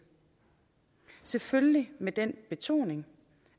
selvfølgelig med den betoning